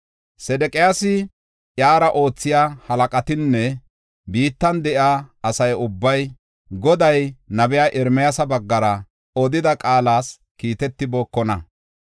Sedeqiyaasi, iyara oothiya halaqatinne biittan de7iya asa ubbay, Goday nabiya Ermiyaasa baggara odida qaalas kiitetibookonna.